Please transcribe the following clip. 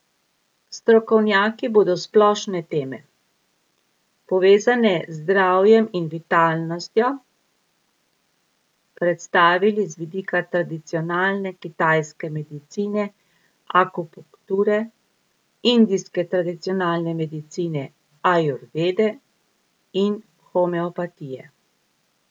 Strokovnjaki bodo splošne teme, povezane z zdravjem in vitalnostjo, predstavili z vidika tradicionalne kitajske medicine akupunkture, indijske tradicionalne medicine ajurvede ter homeopatije.